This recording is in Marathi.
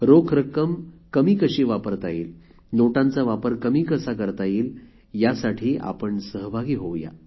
रोख रक्क्कम कमी कशी वापरता येईल नोटांचा वापर कमी कसा करता येईल यासाठी आपण सहभागी होऊ या